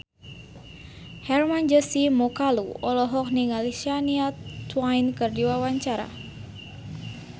Hermann Josis Mokalu olohok ningali Shania Twain keur diwawancara